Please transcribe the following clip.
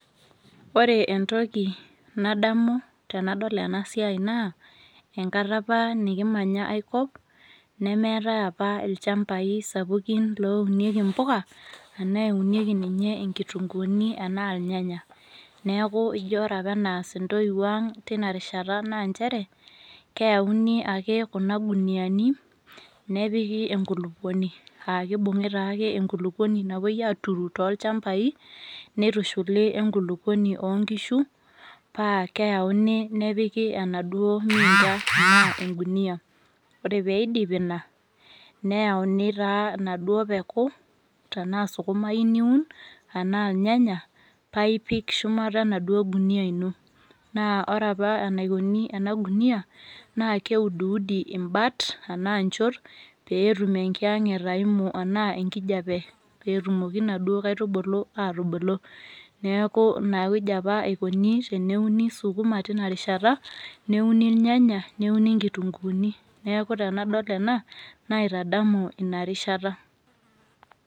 Ore entoki nadamu tanadol enasiai naa enkata apa nikimanya aikop nemeetai apa ilchambai sapukin loounieki impoka anaaeunieki ninye inkitunguuni anaa ilnyanya. Naaku ijo ore apa eneas intoiwuo ang' tinarishata naanchere keyauni ake kuna guniani nepiki enkulukuoni aakeibung'i taake enkulukuoni napuoi aaturu toolchambai neitishuli oenkulukuoni oonkishu paakeauni nepiki enaduo miinta anaa engunia. Ore peeidipi ina neyauni taa naduo peku tenaa sukuma iyou niun anaa ilnyanya paaipik shumata naduo gunia ino. Naa ore apa enaikuni enagunia naakeuduudi imbat anaa nchot peetum enkiyang'et aimu anaa enkijape peetumoki naduo kaitubulu aatubulu. Neaku inawueji apa eikuni teneuni sukuma tinarishata neuni ilnyanya neuni inkitunguuni neaku tenadol ena naitadamu inarishata.